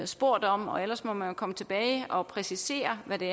spurgt om og ellers må man komme tilbage og præcisere det